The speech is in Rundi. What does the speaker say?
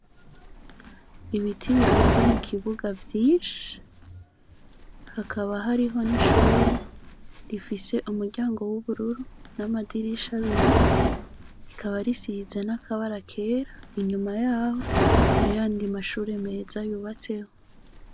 Ibiti birunze mu kibuga vyinshi hakaba hariho n'ishure rifise umuryango w'ubururu n'amadirisha abiri rikaba risirize n'akabara kera inyuma yaho harihandi mashure meza yubatseho.